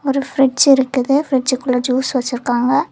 ஒரு பிரிட்ஜ் இருக்குது பிரிட்ஜ் குள்ள ஜூஸ் வெச்சிருக்காங்க.